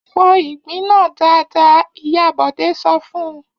Fọ ìgbín náà dáadáa! Ìyá Bọ̀dé sọ fún un.